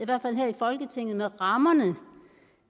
med rammerne